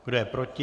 Kdo je proti?